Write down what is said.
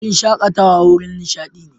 Wurin shakatawa wurin nishadi ne.